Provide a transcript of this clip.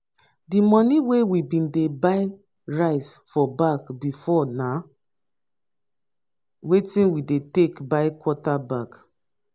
di moni wey bin dey buy rice for bag before na wetin we take take buy quarter bag.